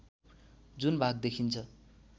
जुन भाग देखिन्छ